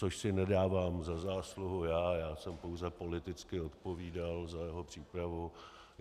Což si nedávám za zásluhu já, já jsem pouze politicky odpovídal za jeho přípravu.